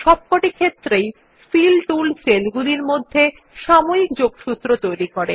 সবকটি ক্ষেত্রেই ফিল টুল সেলগুলির মধ্যে সাময়িক যোগসূত্র তৈরী করে